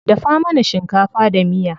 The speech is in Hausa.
Dafa mana shinkafa da miya.